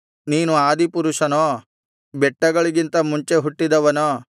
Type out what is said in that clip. ನೀನು ಆದಿಪುರುಷನೋ ಬೆಟ್ಟಗಳಿಗಿಂತ ಮುಂಚೆ ಹುಟ್ಟಿದವನೋ